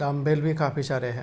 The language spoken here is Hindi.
डम्बेल भी काफी सारे हैं।